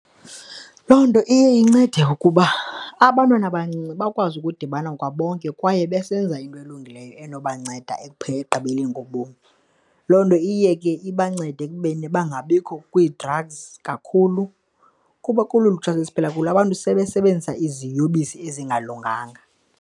Loo nto iye incede ukuba abantwana abancinci bakwazi ukudibana kwabonke kwaye besenza into elungileyo enobakubanceda ekugqibeleni ngobomi. Loo nto iye ke ibanceda ekubeni bangabikho kwii-drugs kakhulu kuba kolu lutsha esiphila kulo abantu sebesebenzisa iziyobisi ezingalunganga.